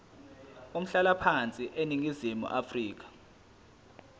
umhlalaphansi eningizimu afrika